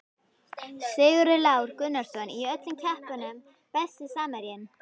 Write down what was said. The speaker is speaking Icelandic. Sigurður Lár Gunnarsson í öllum keppnum Besti samherjinn?